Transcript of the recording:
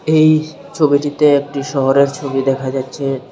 এই ছবিটিতে একটি শহরের ছবি দেখা যাচ্ছে।